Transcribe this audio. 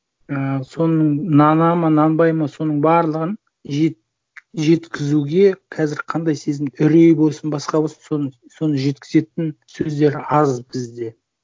ііі соның нанады ма нанбайды ма соның барлығын жеткізуге қазір қандай сезім үрей болсын басқа болсын соны жеткізетін сөздер аз бізде